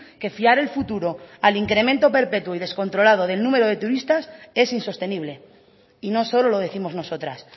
que fiar el futuro al incremento perpetuo y descontrolado del número de turistas es insostenible y no solo lo décimos nosotras